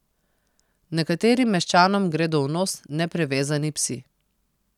Nekaterim meščanom gredo v nos neprivezani psi.